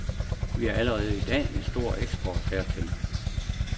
Vi har allerede i dag en stor eksport hertil.